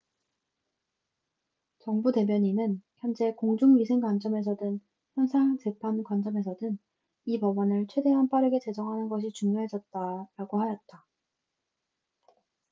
"정부 대변인은 "현재 공중위생 관점에서든 형사 재판 관점에서든 이 법안을 최대한 빠르게 제정하는 것이 중요해졌다""라고 하였다.